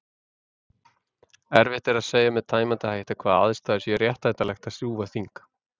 Erfitt er að segja með tæmandi hætti við hvaða aðstæður sé réttlætanlegt að rjúfa þing.